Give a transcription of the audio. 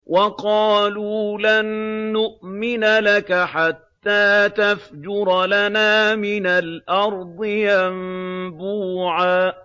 وَقَالُوا لَن نُّؤْمِنَ لَكَ حَتَّىٰ تَفْجُرَ لَنَا مِنَ الْأَرْضِ يَنبُوعًا